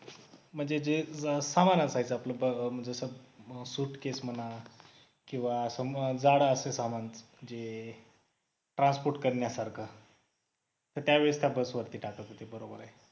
म्हणजे जे सामान असायचं आपलं न सुटकेस म्हणा जड असेल समान जे transport करण्या सारख असताना त्यावेळेस त्या बस वरती टाकत होते बरोबर आहे